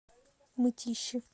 мытищи